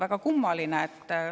Väga kummaline!